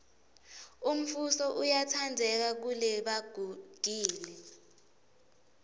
umfuso uyatsandzeka kelebagugile